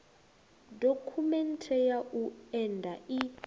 dokhumenthe ya u enda i